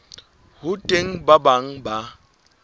ho teng ba bang ba